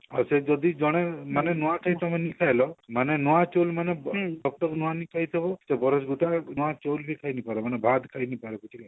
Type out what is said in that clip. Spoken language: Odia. ଆଉ ସେ ଯଦି ଜଣେ ମାନେ ନୂଆ ଖାଇ ପାରିଲାନି ସେ ହେଲେ ନୂଆ ଚଉଲ ମାନେ ନୂଆନେଇ ଖାଇ ନଥିବ ଘର ଗୁଟା ନୂଆ ଚଉଲ ବି ଖାଇ ନେଇ ପାର ମାନେ ଭାତ ଖାଇ ନେଇ ପାର